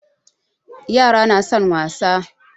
Yara na son wasa